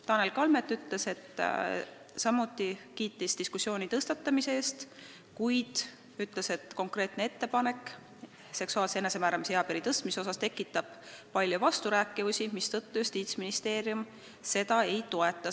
Tanel Kalmet kiitis samuti diskussiooni tõstatamise eest, kuid ütles, et konkreetne ettepanek seksuaalse enesemääramise eapiiri tõstmise kohta kutsub esile palju vasturääkivusi, mistõttu Justiitsministeerium seda ei toeta.